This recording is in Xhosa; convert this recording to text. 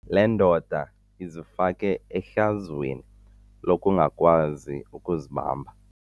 Le ndoda izifake ehlazweni lokungakwazi ukuzibamba.